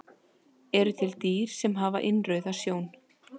Eru til dýr sem hafa innrauða sjón?